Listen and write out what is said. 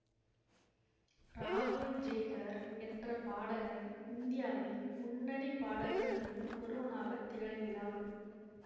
ராகுல் ஜய்கர் என்ற பாடகன் இந்தியாவின் முன்னணி பாடகர்களுள் ஒருவனாகத் திகழ்கிறான்